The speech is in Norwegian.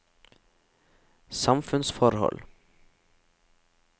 samfunnsforhold